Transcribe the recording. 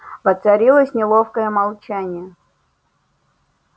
воцарилось неловкое молчание